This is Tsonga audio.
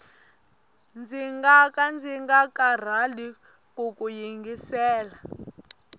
ndzi ngaka ndzi nga karhali kuku yingisela